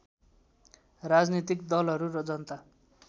राजनीतिक दलहरू र जनता